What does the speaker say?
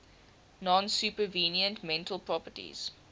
non supervenient mental properties